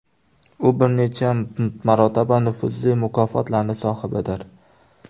U bir necha marotaba nufuzli mukofotlarning sohibidir.